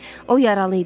O yaralı idi.